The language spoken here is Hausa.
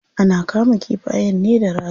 Ana kama kifayen ne da raga.